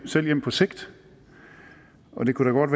selv hjem på sigt og det kunne